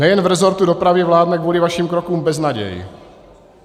Nejen v resortu dopravy vládne kvůli vašim krokům beznaděj.